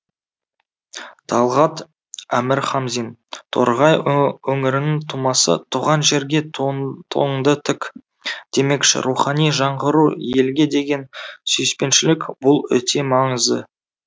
талғат әмірхамзин торғай өңірінің тумасы туған жерге туың туыңды тік демекші рухани жаңғыру елге деген сүйіспеншілік бұл өте маңызды